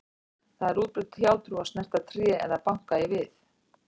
Það er útbreidd hjátrú að snerta tré eða banka í við.